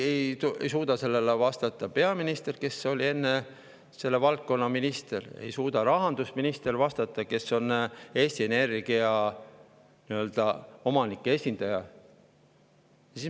Ei suuda sellele vastata peaminister, kes oli enne selle valdkonna minister, ei suuda vastata rahandusminister, kes on Eesti Energia omanike esindaja.